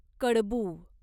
कडबू